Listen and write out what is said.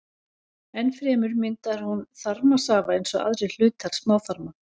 Enn fremur myndar hún þarmasafa eins og aðrir hlutar smáþarma.